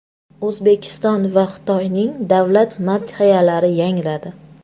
O‘zbekiston va Xitoyning davlat madhiyalari yangradi.